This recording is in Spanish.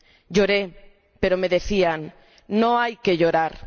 Lloré, pero me decían No hay que llorar.